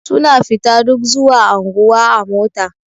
Suna fita duk zuwa anguwa a mota.